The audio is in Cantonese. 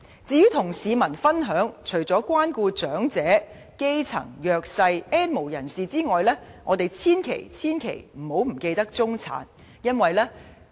至於與市民分享方面，除了關顧長者、基層、弱勢、"N 無人士"外，我們千萬不要忘記中產。